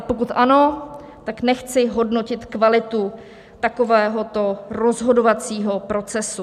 A pokud ano, tak nechci hodnotit kvalitu takovéhoto rozhodovacího procesu.